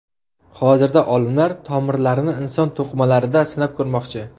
Hozirda olimlar tomirlarni inson to‘qimalarida sinab ko‘rmoqchi.